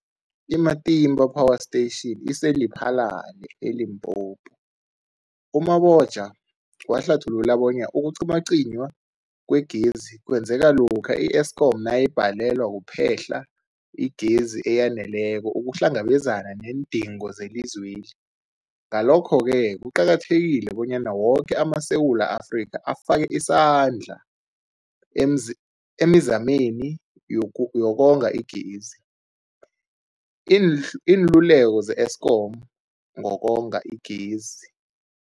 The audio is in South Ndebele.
I-Matimba Power Station ise-Lephalale, eLimpopo. U-Mabotja wahlathulula bonyana ukucinywacinywa kwegezi kwenzeka lokha i-Eskom nayibhalelwa kuphe-hla igezi eyaneleko ukuhlangabezana neendingo zelizwe. Ngalokho-ke kuqakathekile bonyana woke amaSewula Afrika afake isandla emzi emizameni yokonga igezi. Iinl iinluleko ze-Eskom ngokonga igezi.